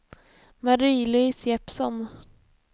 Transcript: Marie-Louise Jeppsson